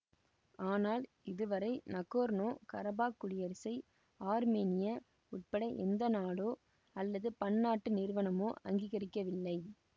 ஆனால் இது வரை நகோர்னோகரபாக் குடியரசை ஆர்மேனியா உட்பட எந்த நாடோ அல்லது பன்னாட்டு நிறுவனமோ அங்கிகரிக்கவில்லை